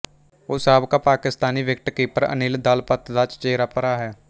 ਉਹ ਸਾਬਕਾ ਪਾਕਿਸਤਾਨੀ ਵਿਕਟਕੀਪਰ ਅਨਿਲ ਦਾਲਪਤ ਦਾ ਚਚੇਰਾ ਭਰਾ ਹੈ